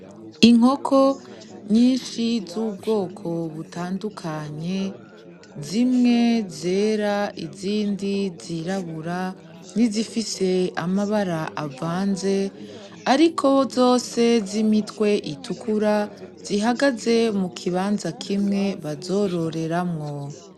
Inkoko nyinshi zubwoko butandukanye zimwe zera, izindi zirabura nizifise amabara avanze ariko zose zimitwe itukura zihagaze mukibanza kimwe bazororeramwo.